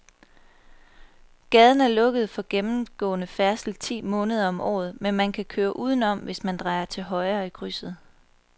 Gaden er lukket for gennemgående færdsel ti måneder om året, men man kan køre udenom, hvis man drejer til højre i krydset.